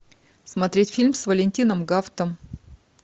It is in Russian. смотреть фильм с валентином гафтом